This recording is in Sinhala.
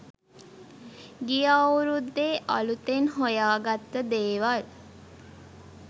ගිය අවුරුද්දේ අලුතෙන් හොයාගත්ත දේවල්